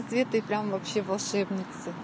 цветы прям вообще волшебницы